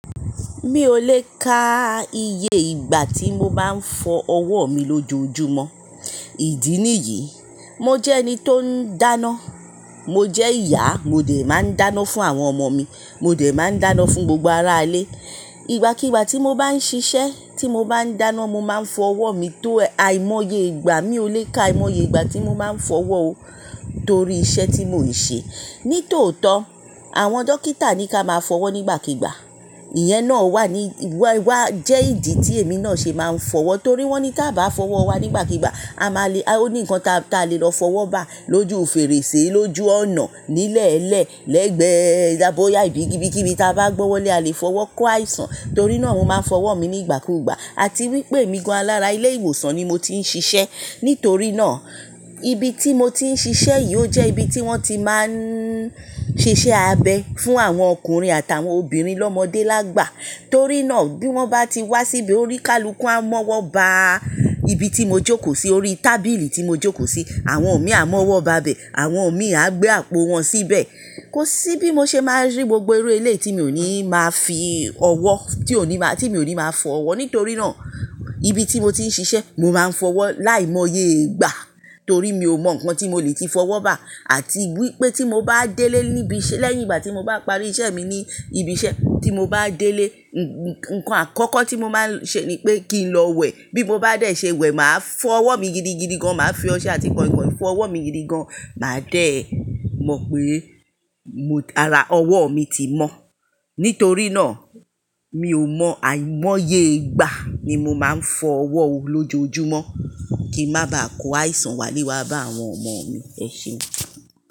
Mi ò le ka iye ìgbà tí mo máa ń fọ ọwọ́ mi lójoojúmọ́. Ìdí nìyí, mo jẹ́ ẹni tó ń dáná, mo jẹ́ ìyá, mo dẹ̀ máa ń dáná fún àwọn ọmọ mi, mo dẹ̀ máa ń dáná fún gbogbo ará ilé. Ìgbàkígbà tí mo bá ń ṣiṣẹ́, tí mo bá ń dáná, mo má ń fọ ọwọ́ mi tó àìmọye ìgbà. Mi ò le ka àìmọye ìgbà tí mo máa ń fọ ọwọ́ o torí iṣẹ́ tí mò ń ṣe. Ní tòótọ́, àwọn dókítà ní kí a máa fọ wọ́ nígbàkigba. Ìyẹn náà wà ní, wà, wà jẹ́ ìdí tí èmi náà ṣe máa ń fọwọ́ torí wọ́n ní tí a bá fọ ọwọ́ wa nígbàkigbà, a máa le, o ní ǹkan tá tá lè lọ fọwọ́ bá lójú fèrèsé, lójú ọ̀nà, nílẹ̀lẹ̀, lẹ́gbẹ̀ẹ́, dá bóyá ibi kibi tí a bá gbọ́wọ́lẹ́ a lè fọwọ́ kó àìsàn. Torí náà mo máa fọ ọwọ́ mi nígbàkúgbà. Àti wípé èmi gan alára ilé ìwòsàn ni mo ti ń ṣiṣẹ́. Nítorí náà, ibi tí mo ti ń ṣiṣẹ́ yìí ó jẹ́ ibi tí wọ́n ti máa ń ṣe iṣẹ́ abẹ fún àwọn ọkùnrin àtàwọn obìnrin lọ́mọdé lágbà. Torí náà bí wọ́n bá ti wá síbí oní kálukú a mọ́wọ́ bá ibi tí mo jókòó sí, orí tábìlì tí mo jókòó sí. Àwọn mi a mọ́wọ́ bá bẹ, àwọn mi a gbé àpò wọn síbẹ̀. Kò sí bí mo ṣe máa rí gbogbo irú eléyí tí mi ò ní máa fi ọwọ́, tí ò ní máa, tí mi ò ní máa fọ ọwọ́. Nítorí náà, ibi tí mo ti ń ṣiṣẹ́, mo máa ń fọ ọwọ́ láìmọye ìgbà. Torí mi ò mọ ǹkan tí mo lè ti fọwọ́ bá àti wípé tí mo bá délé níbi iṣẹ́ lẹ́yìn ìgbà tí mo bá parí iṣẹ́ mi ní ibi iṣẹ́, tí mo bá délé, ǹkan àkọ́kọ́ tí mo máa ń ṣe ni pé kí n lọ wẹ̀. Bí mo bá dé ṣe wẹ̀, màá fọ ọwọ́ mi gidigidi gan. Màá fi ọṣẹ àti kọ̀ìnkọ̀ìn fọ ọwọ́ mi gidi gan. Màá dẹ̀ mọ̀ pé mo, ara ọwọ́ mi ti mọ́. Nítorí náà, mi ò mọ àìmọye ìgbà nímo máa ń fọ ọwọ́ lójoojúmọ́ kí n má ba à kó àìsàn wálé wá bá àwọn ọmọ mi. Ẹ ṣéun.